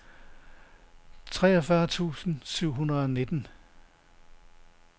treogfyrre tusind syv hundrede og nitten